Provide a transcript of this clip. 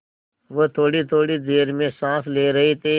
वह थोड़ीथोड़ी देर में साँस ले रहे थे